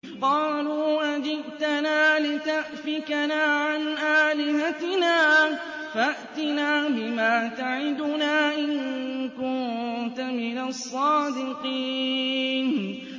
قَالُوا أَجِئْتَنَا لِتَأْفِكَنَا عَنْ آلِهَتِنَا فَأْتِنَا بِمَا تَعِدُنَا إِن كُنتَ مِنَ الصَّادِقِينَ